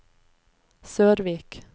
Sørvik